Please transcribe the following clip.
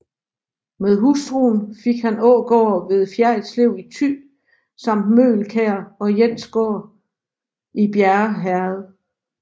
Med hustruen fik han Ågård ved Fjerritslev i Thy samt Møgelkær og Jensgård i Bjerre Herred